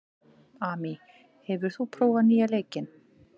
Amy, hefur þú prófað nýja leikinn?